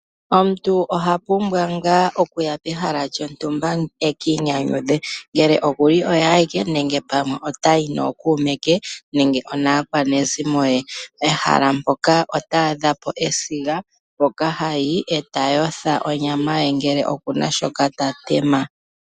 Omuntu oha pumbwa ngaa okuya pehala lyontumba ekiinyanyudhe. Ngele oku li oye awike, nenge pamwe ota yi nookuume ke nenge onaa kwanezimo ye. Pehala mpoka ota adha po esiga, mpoka hayi e ta yotha onyama ye ngele okuna shoka ta tema.